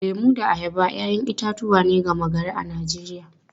Lemu da ayaba ‘ya’yan itatuwa ne gama-gari a Najeriya.